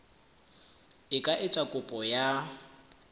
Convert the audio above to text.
e ka etsa kopo ya